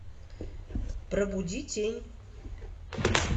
пробуди тень